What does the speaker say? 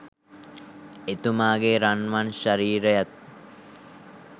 එතුමාගේ රන්වන් ශරීරයත්